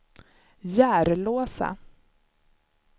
Järlåsa